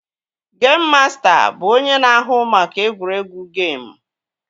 Geim masta bụ onye na-ahụ maka egwuregwu geim